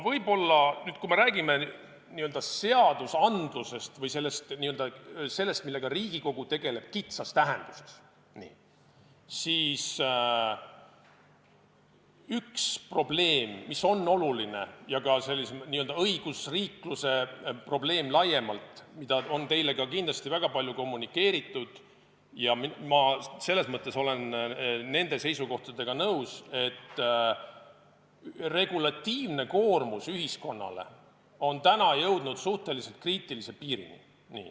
Nüüd, kui me räägime seadustest või sellest, millega Riigikogu tegeleb, kitsas tähenduses, siis üks probleem, mis on oluline ja on ka õigusriikluse probleem laiemalt, millest teile on ka kindasti väga palju räägitud – ja ma olen nende seisukohtadega nõus –, on see, et regulatiivne koormus ühiskonnale on jõudnud suhteliselt kriitilise piirini.